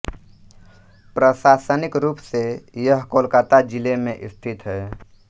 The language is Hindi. प्रशासनिक रूप से यह कोलकाता ज़िले में स्थित है